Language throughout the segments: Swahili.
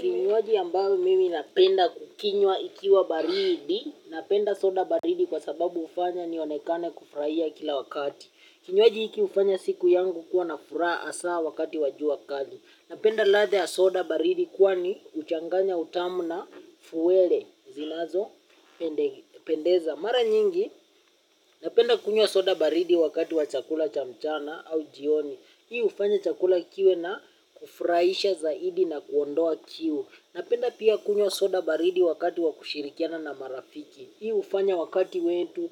Kinywaji ambayo mimi napenda kukinywa ikiwa baridi, napenda soda baridi kwa sababu hufanya nionekane kufurahia kila wakati. Kinywaji hiki hufanya siku yangu kuwa nafuraha hasa wakati wa jua kali. Napenda ladha ya soda baridi kwani huchanganya utamu na fuwele zinazo pendeza. Mara nyingi napenda kunywa soda baridi wakati wa chakula chamchana au jioni. Hii hufanya chakula kiwe na kufurahisha zaidi na kuondoa kiu. Napenda pia kunywa soda baridi wakati wa kushirikiana na marafiki. Hii hufanya wakati wetu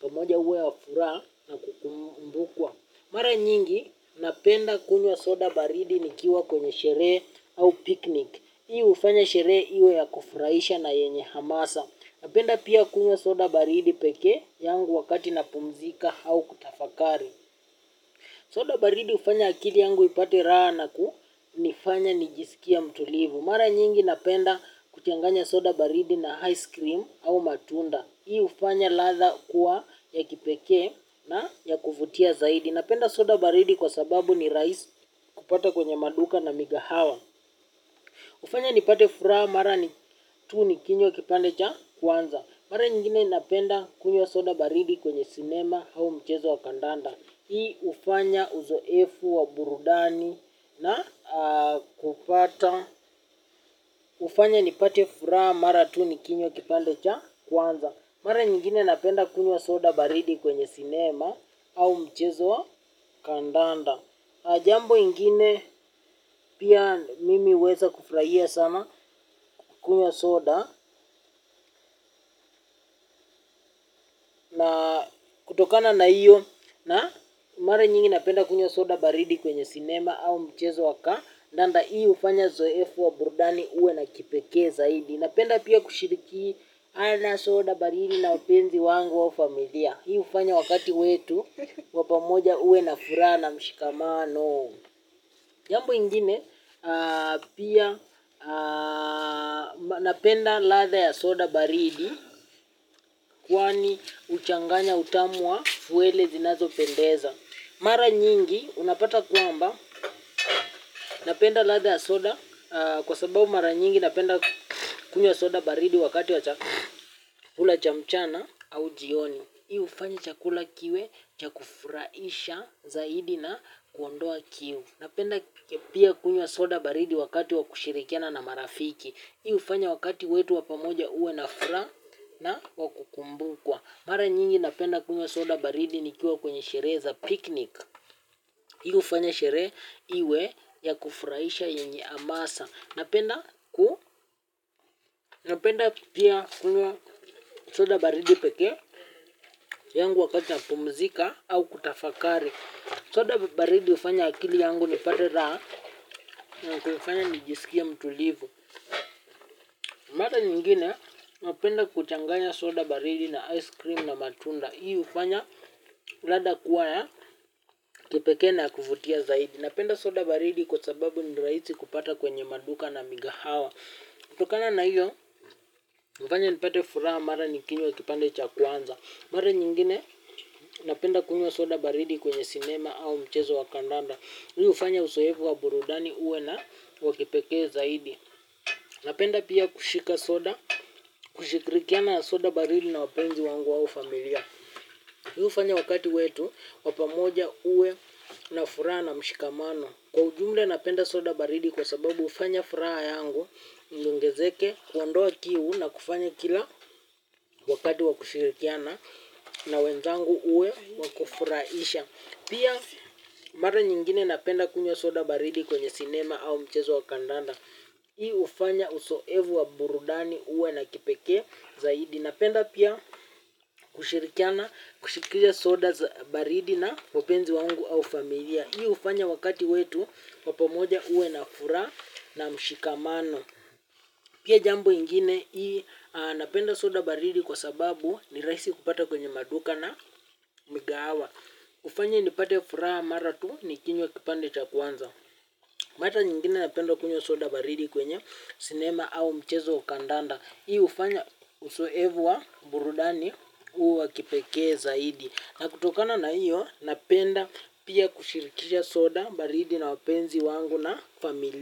pamoja uwe wa furaha na kukumbukwa. Mara nyingi, napenda kunywa soda baridi ni kiwa kwenye sherehe au picnic. Hii hufanya sherehe iwe ya kufurahisha na yenye hamasa. Napenda pia kunywa soda baridi peke yangu wakati na pumzika au kutafakari. Soda baridi hufanya akili yangu ipate raha na kunifanya nijisikie mtulivu. Mara nyingi napenda kuchanganya soda baridi na ice cream au matunda. Hii hufanya ladha kuwa ya kipekee na ya kuvutia zaidi. Napenda soda baridi kwa sababu ni rahisi kupata kwenye maduka na migahawa hufanya nipate furaha mara ni tunikinywa kipande cha kwanza. Mara nyingine napenda kunywa soda baridi kwenye cinema au mchezo wa kandanda. Hii hufanya uzoefu wa burudani na kupata hufanya ni pate furaha mara tu ni kinywa kipande cha kwanza. Mara nyingine napenda kunywa soda baridi kwenye cinema au mchezo kandanda. Jambo ingine pia mimi huweza kufurahia sana kunywa soda. Na kutokana na hiyo na mara nyingi napenda kunywa soda baridi kwenye cinema au mchezo wa ka ndanda hii hufanya zoefu wa burudani uwe na kipekee zaidi. Napenda pia kushiriki ana soda baridi na wapenzi wangu au familia. Hii hufanya wakati wetu wapamoja uwe na furaha na mshikamano. Jambu ingine pia napenda ladha ya soda baridi. Kwani huchanganya utamu wa wele zinazo pendeza. Mara nyingi unapata kwamba napenda ladha ya soda. Kwa sababu mara nyingi napenda kunywa soda baridi wakati wa chakula cha mchana au jioni. Hii hufanya chakula kiwe cha kufurahisha zaidi na kuondoa kiu. Napenda pia kunywa soda baridi wakati wa kushirikiana na marafiki. Hii hufanya wakati wetu wapamoja uwe na furaha na wakukumbukwa. Mara nyingi napenda kunywa soda baridi ni kiwa kwenye sherehe za picnic. Hii hufanya sherehe iwe ya kufurahisha yenye hamasa. Napenda pia kunywa soda baridi peke yangu wakati na pumzika au kutafakari. Soda baridi hufanya akili yangu nipate raha na kufanya nijisikie mtulivu. Mara nyingine napenda kuchanganya soda baridi na ice cream na matunda. Hii hufanya ladha kuwa ya kipekee na ya kuvutia zaidi. Napenda soda baridi kwa sababu ni rahisi kupata kwenye maduka na migahawa. Kutokana na hiyo, hufanya nipate furaha mara nikinywa kipande cha kwanza. Mara nyingine, napenda kunywa soda baridi kwenye cinema au mchezo wakandanda. Hii hufanya uzowefu wa burudani uwe na wakipekee zaidi. Napenda pia kushika soda, kushikirikiana soda baridi na wapenzi wangu au familia. Hii hufanya wakati wetu, wapamoja uwe na furaha na mshikamano. Kwa ujumla napenda soda baridi kwa sababu hufanya furaha yangu iongezeke kuondoa kiu na kufanya kila wakati wakushirikiana na wenzangu uwe wakufurahisha. Pia mara nyingine napenda kunywa soda baridi kwenye cinema au mchezo wa kandanda. Hii hufanya uzowevu wa burudani uwe na kipekee zaidi. Napenda pia kushirikiana kushiriki soda za baridi na wapenzi wangu au familia hii hufanya wakati wetu wa pamoja uwe na furaha na mshikamano pia jambo ingine napenda soda baridi kwa sababu nirahisi kupata kwenye maduka na migahawa hufanya nipate furaha mara tu nikinywa kipande cha kwanza. Mara nyingine napenda kunywa soda baridi kwenye cinema au mchezo kandanda. Hii hufanya uzoevu wa burudani uwa kipekee zaidi. Na kutokana na hiyo napenda pia kushirikisha soda baridi na wapenzi wangu na familia.